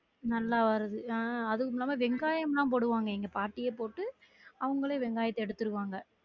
நல்லா வருது அஹ் அதும் இல்லாம வெங்காயம்லாம் போடுவாங்க எங்க பாட்டியே போட்டு அவங்கலே வெங்காயத்த எடுத்துருவாங்க